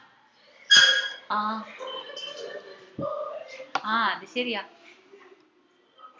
ആഹ് ആഹ് അത് ശെരിയാ